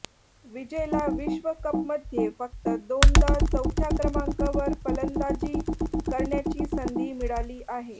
विजयला विश्वकपमध्ये फक्त दोनदा चौथ्या क्रमांकावर फंलदाजी करण्याची संधी मिळाली आहे